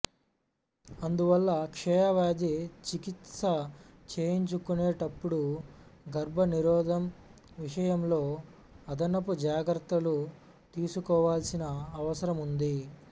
అందువల్ల క్షయవ్యాధి చికిత్స చేయించుకునేటప్పుడు గర్భ నిరోధం విషయంలో అదనపు జాగ్రత్తలు తీసుకోవాల్సిన అవసరముంది